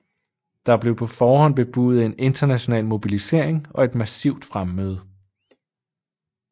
Der blev på forhånd bebudet en international mobilisering og et massivt fremmøde